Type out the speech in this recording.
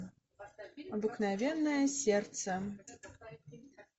обыкновенное сердце